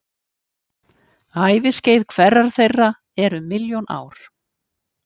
Æviskeið hverrar þeirra er um milljón ár.